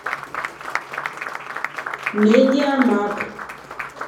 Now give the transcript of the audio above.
медиамаг